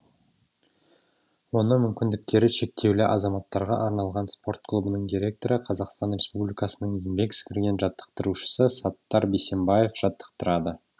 оны мүмкіндіктері шектеулі азаматтарға арналған спорт клубының директоры қазақстан республикасының еңбек сіңірген жаттықтырушысы саттар бейсембаев жаттықтырады